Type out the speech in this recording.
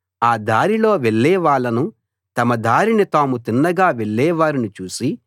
ఆ దారిలో వెళ్ళేవాళ్ళను తమ దారిన తాము తిన్నగా వెళ్ళేవారిని చూసి